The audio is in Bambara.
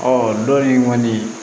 donin kɔni